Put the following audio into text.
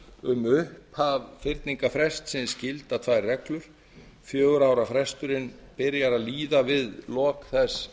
um upphaf fyrningarfrestsins gilda tvær reglur fjögurra ára fresturinn byrjar að líða við lok þess